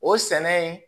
O sɛnɛ in